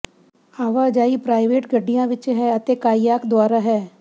ਆਵਾਜਾਈ ਪ੍ਰਾਈਵੇਟ ਗੱਡੀਆਂ ਵਿੱਚ ਹੈ ਅਤੇ ਕਾਇਆਕ ਦੁਆਰਾ ਹੈ